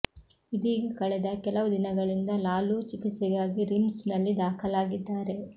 ಇದೀಗ ಕಳೆದ ಕೆಲವು ದಿನಗಳಿಂದ ಲಾಲೂ ಚಿಕಿತ್ಸೆಗಾಗಿ ರಿಮ್ಸ್ ನಲ್ಲಿ ದಾಖಲಾಗಿದ್ದಾರೆ